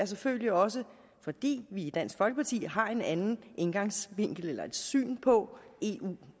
selvfølgelig også fordi vi i dansk folkeparti har en anden indgangsvinkel eller et andet syn på eu